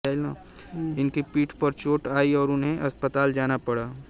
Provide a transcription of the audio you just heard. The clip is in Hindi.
उनकी पीठ पर चोट आई और उन्हें अस्पताल जाना पड़ा